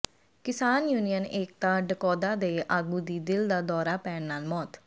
ਕਿਸਾਨ ਯੂਨੀਅਨ ਏਕਤਾ ਡਕੌ ਾਦਾ ਦੇ ਆਗੂ ਦੀ ਦਿਲ ਦਾ ਦੌਰਾ ਪੈਣ ਨਾਲ ਮੌਤ